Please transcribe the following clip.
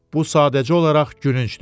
Bu sadəcə olaraq gülüncdür.